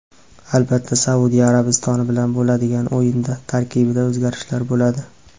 Albatta Saudiya Arabistoni bilan bo‘ladigan o‘yinda tarkibda o‘zgarishlar bo‘ladi.